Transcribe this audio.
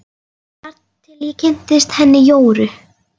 Þar til ég kynntist henni Jóru.